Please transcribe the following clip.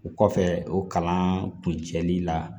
O kɔfɛ o kalan kun cɛli la